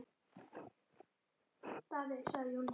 Þín Ólafía.